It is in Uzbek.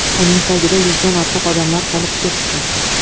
Uning tagida yuzdan ortiq odamlar qolib ketdi.